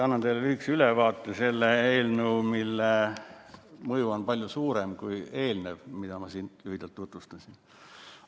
Annan teile lühikese ülevaate sellest eelnõust, mille mõju on palju suurem kui eelneval, mida ma ka siin lühidalt tutvustasin.